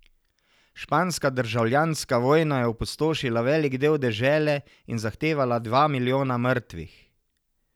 Španska državljanska vojna je opustošila velik del dežele in zahtevala dva milijona mrtvih.